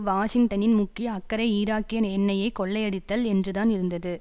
வாஷிங்டனின் முக்கிய அக்கறை ஈராக்கிய எண்ணெயை கொள்ளையடித்தல் என்றுதான் இருந்தது